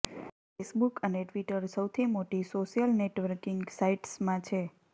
Facebook અને Twitter સૌથી મોટી સોશિયલ નેટવર્કિંગ સાઇટ્સમાં છે